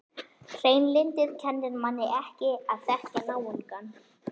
Hreinlyndið kennir manni ekki að þekkja náungann.